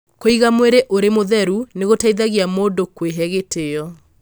Kũiga mwĩrĩ ũrĩ mũtheru nĩ gũteithagia mũndũ kwĩhe gĩtĩo.